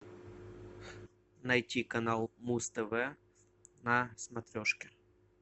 найти канал муз тв на смотрешке